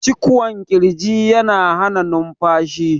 cikwon kirji yana Hana numfashi